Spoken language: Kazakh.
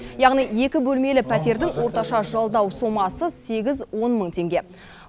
яғни екі бөлмелі пәтердің орташа жалдау сомасы сегіз он мың теңге